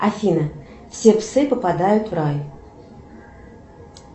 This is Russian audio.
афина все псы попадают в рай